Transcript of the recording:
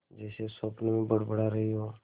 जैसे स्वप्न में बड़बड़ा रही हो